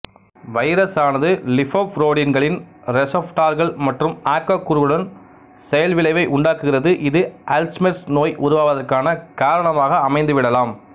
வைரஸானது லிபோப்ரோடீன்களின் ரெஸெப்டார்கள் மற்றும் ஆக்கக்கூறுகளுடன் செயல்விளைவை உண்டாக்குகிறது இது அல்ஸிமெர்ஸ் நோய் உருவாவதற்கான காரணமாக அமைந்துவிடலாம்